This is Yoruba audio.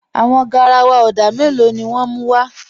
Àwọn gáràwà odà mẹ́lọ̀ ni wọn mú wa?